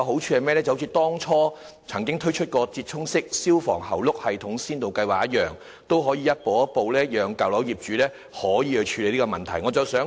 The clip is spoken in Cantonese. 正如政府曾經推出"折衷式消防喉轆系統先導計劃"，先導計劃的好處是可以讓舊樓業主逐步處理有關問題。